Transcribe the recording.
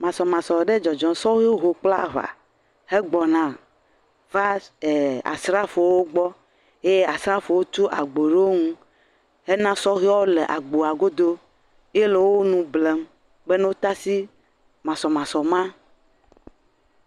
Masɔmasɔ ɖe dzɔdzɔm, sɔhewo ho kple aŋa hegbɔna va ee asrafowo gbɔ ye asrafowo tu agbo ɖe wo ŋu, hena sɔheawo le agboa godo ye le wo nu blem be ne wota si masɔmasɔ ma.